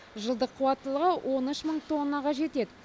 жылдық қуаттылығы он үш мың тоннаға жетеді